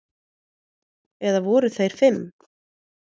Eða voru þeir fimm?